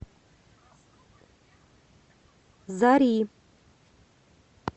зари